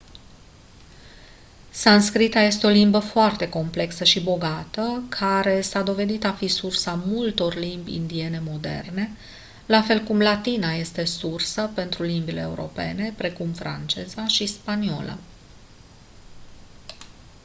sanscrita este o limbă foarte complexă și bogată care a s-a dovedit a fi sursa multor limbi indiene moderne la fel cum latina este sursa pentru limbile europene precum franceza și spaniola